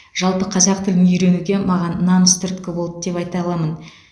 жалпы қазақ тілін үйренуге маған намыс түрткі болды деп айта аламын